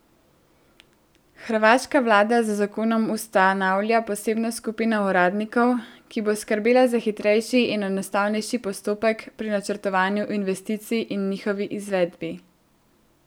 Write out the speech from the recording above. Hrvaška vlada z zakonom ustanavlja posebno skupino uradnikov, ki bo skrbela za hitrejši in enostavnejši postopek pri načrtovanju investicij in njihovi izvedbi.